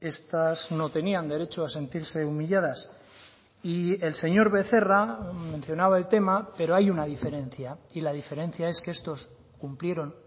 estas no tenían derecho a sentirse humilladas y el señor becerra mencionaba el tema pero hay una diferencia y la diferencia es que estos cumplieron